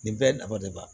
Nin bɛɛ nafa de b'a la